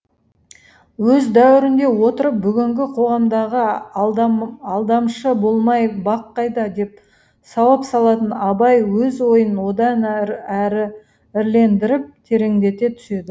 өз дәуірінде отырып бүгінгі қоғамдағы алдамшы болмай бақ қайда деп сауал салатын абай өз ойын одан әрі ірілендіріп тереңдете түседі